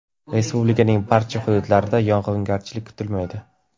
Respublikaning boshqa hududlarida yog‘ingarchilik kutilmaydi.